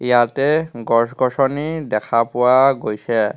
ইয়াতে গছ-গছনী দেখা পোৱা গৈছে.